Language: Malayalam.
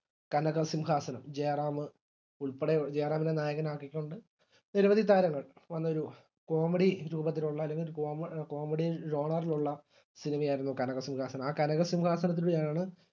കനകസിംഹാസനം ജയറാമ് ഉൾപ്പെടെ ജയറാമിനെ നായകനാക്കിക്കൊണ്ട് നിരവധി താരങ്ങൾ നല്ലൊരു comedy രൂപത്തിലുള്ള അല്ലെങ്കിൽ കോമ comedy banner ഇൽ ഉള്ള സിനിമയായിരുന്നു കനകസിംഹാസനം ആ കനകസിംഹാസനത്തിലൂടെയാണ്